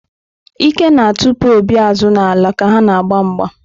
Ike na-atụpụ Obi azụ n’ala ka ha na-agba mgba.